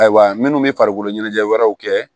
Ayiwa minnu bɛ farikolo ɲɛnajɛ wɛrɛw kɛ